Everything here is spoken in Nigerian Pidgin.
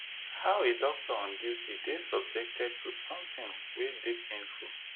how a doctor on duty dey subjected to sometin wey dey painful